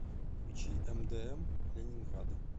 включи мдм ленинграда